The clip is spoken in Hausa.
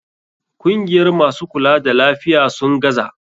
Kungiyar masu kula da lafiya, sun gaza.